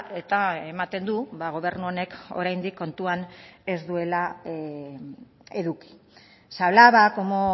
eta ematen du gobernu honek oraindik kontuan ez duela eduki se hablaba cómo